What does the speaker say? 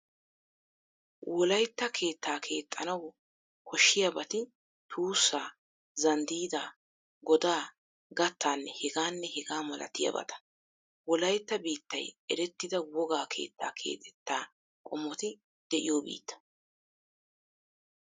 Wolaytta keettaa keexxanawu koshshiyabati: tuussaa, zanddiidaa, godaa, gattaanne hegaanne hegaa milatiyabata. Wolaytta biittay erettida wogaa keettaa keexettaa qommoti de'iyo biitta.